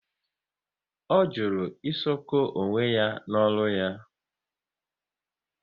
Ọ jụrụ ịshoko onwe ya n'ọrụ ya